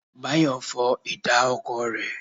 Báyọ̀ fọ ìta ọkọ̀ rẹ.